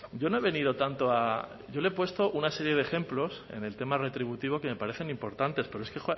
yo no he venido tanto a yo le he puesto una serie de ejemplos en el tema retributivo que me parecen importantes pero es que